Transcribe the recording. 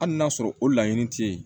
Hali n'a sɔrɔ o laɲini tɛ yen